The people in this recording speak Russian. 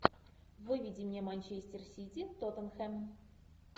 выведи мне манчестер сити тоттенхэм